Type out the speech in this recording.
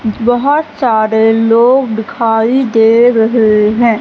बहोत सारे लोग दिखाई दे रहे हैं।